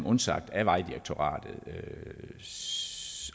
undsagt af vejdirektoratet